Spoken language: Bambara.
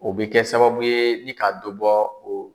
O bɛ kɛ sababu ye ni ka dɔ bɔ o